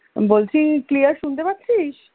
বলছি Clear শুনতে পাচ্ছিস